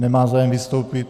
Nemá zájem vystoupit.